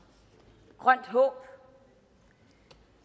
grønt håb